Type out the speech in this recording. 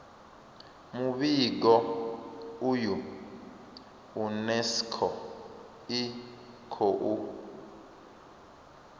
muvhigo uyu unesco i khou